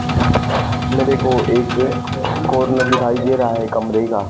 मेरे को एक कॉर्न दिखाई दे रहा है कमरे का।